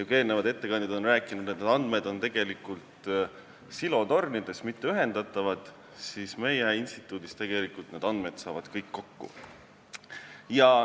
Kui eelnevad ettekandjad rääkisid, et andmed on justkui silotornides, st mitte ühendatavad, siis meie instituudis saavad need andmed kõik kokku.